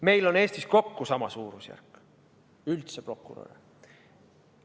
Meil on Eestis üldse kokku sama suurusjärk prokuröre.